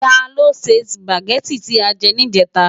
Tá ló sè Súpágèti ti á jè nijètá?